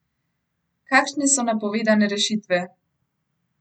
Kakšne so napovedane rešitve?